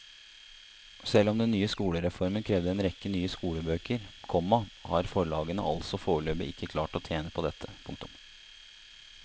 Selv om den nye skolereformen krevde en rekke nye skolebøker, komma har forlagene altså foreløpig ikke klart å tjene på dette. punktum